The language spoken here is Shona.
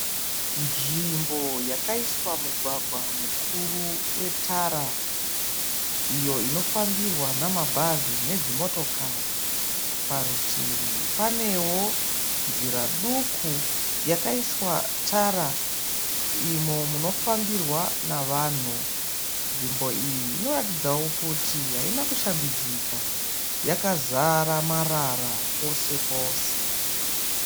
Nzvimbo yakaiswa mugwagwa mukuru wetara iyo inofambirwa namabhazi nedzimotokari. Parutivi panewo nzira duku yakaiswa tara imo munofambirwa navanhu. Nzvimbo iyi inoratidzawo kuti haina kushambidzika yakazara marara pose pose.